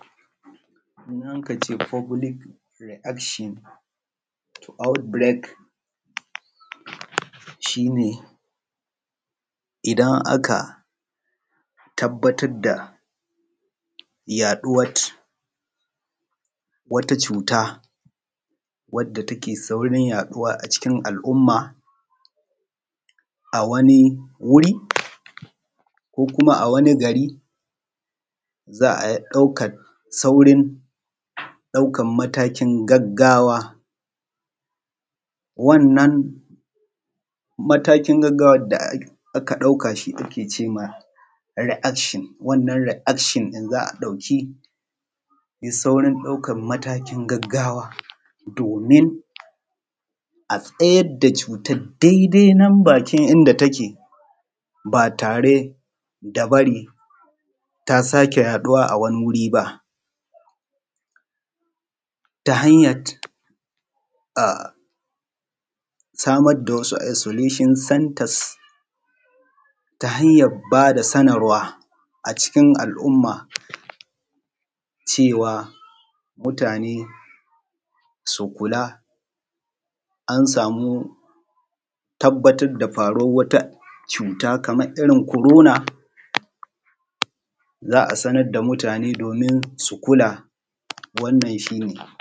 Idan aka ce fublik riakshin aut birek shine idan aka tabbatar da wata cuta wadda take saurin yaɗuwa a cikin alumma a wani wuri ko kuma a wani gari za’a ɗaukan saurin ɗaukan matakin gagawa wannan matakin gaggawan da aka ɗauka shi ake cema riakshon wannan riakshon ɗin za a ɗauki saurin ɗaukan matakin gaggawa domin a tsayar da cutar daidai nan bakin inda take ba tare da bari ta sake yaɗuwa a wani wuriba ta hanyat a samar da wasu solishon santas ta hanyan bada sanarwa a cikin alumma cewa mutane su kula an samu tabbatar da faruwar wata cuta kamar irin korona za’a sanar da mutane domin su kula wannan shi ne.